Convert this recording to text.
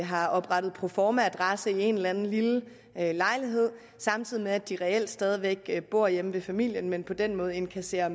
har oprettet proformaadresse i en eller anden lille lejlighed samtidig med at de reelt stadig bor hjemme ved familien men på den måde indkasserer